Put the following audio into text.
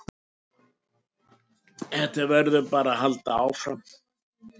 Þetta verður bara að halda áfram